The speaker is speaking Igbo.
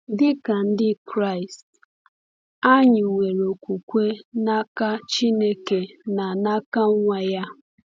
Dị ka Ndị Kraịst, anyị nwere okwukwe n’aka Chineke na n’aka Nwa ya.